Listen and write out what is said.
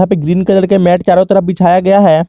यहां पे green colour के मैट चारों तरफ बिछाया गया है।